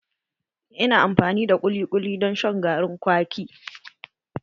Ina amfani da kuli kuli don shan garin kwaki